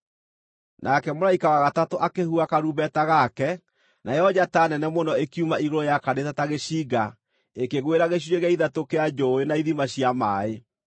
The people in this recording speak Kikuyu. Nake mũraika wa gatatũ akĩhuha karumbeta gake, nayo njata nene mũno ĩkiuma igũrũ yakanĩte ta gĩcinga, ĩkĩgwĩra gĩcunjĩ gĩa ithatũ kĩa njũũĩ na ithima cia maaĩ,